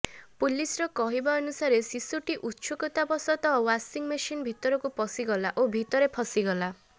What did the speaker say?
ପୁଲିସର କହିବାନୁସାରେ ଶିଶୁଟି ଉତ୍ସୁକତା ବଶତଃ ୱାଶିଙ୍ଗ ମେସିନ୍ ଭିତରକୁ ପଶିଗଲା ଓ ଭିତରେ ଫସିଗଲା